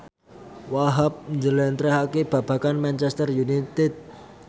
Wahhab njlentrehake babagan Manchester united